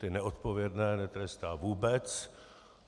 Ty neodpovědné netrestá vůbec.